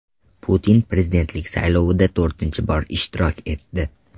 Putin prezidentlik saylovida to‘rtinchi bor ishtirok etdi.